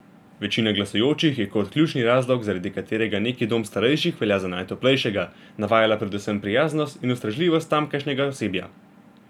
Večina glasujočih je kot ključni razlog, zaradi katerega neki dom starejših velja za najtoplejšega, navajala predvsem prijaznost in ustrežljivost tamkajšnjega osebja.